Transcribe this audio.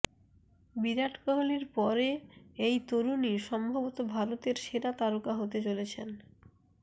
বিরাট কোহলির পরে এই তরুণই সম্ভবত ভারতের সেরা তারকা হতে চলেছেন